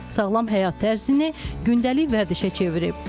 Sağlam həyat tərzini gündəlik vərdişə çevirib.